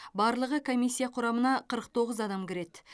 барлығы комиссия құрамына қырық тоғыз адам кіреді